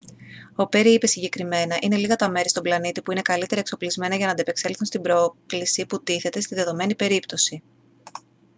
ο πέρι είπε συγκεκριμένα: «είναι λίγα τα μέρη στον πλανήτη που είναι καλύτερα εξοπλισμένα για να ανταπεξέλθουν στην πρόκληση που τίθεται στη δεδομένη περίπτωση»